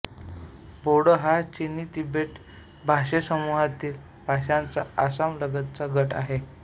बोडो हा चिनीतिबेटी भाषासमूहातील भाषांचा आसामातला गट आहे